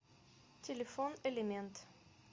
телефон элемент